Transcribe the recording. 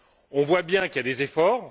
On voit bien qu'il y a des efforts